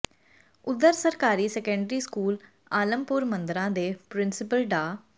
ਉਧਰ ਸਰਕਾਰੀ secondary school Alampur ਮੰਦਰਾਂ ਦੇ ਪ੍ਰਿੰਸੀਪਲ ਡਾ